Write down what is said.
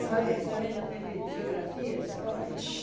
a Deus. E depois a senhora ainda teve geografia, história?